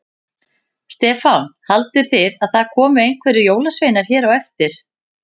Stefán: Haldið þið að það komi einhverjir jólasveinar hér á eftir?